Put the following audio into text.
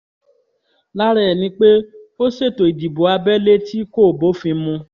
lára ẹ̀ ni pé ó ṣètò ìdìbò abẹ́lé tí kò bófin mu